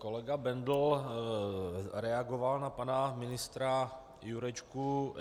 Kolega Bendl reagoval na pana ministra Jurečku.